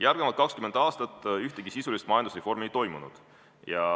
Järgmised 20 aastat ühtegi sisulist majandusreformi ei toimunud.